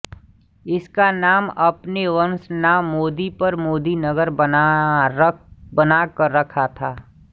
इसका नाम अपने वंशनाम मोदी पर मोदीनगर बना कर रखा था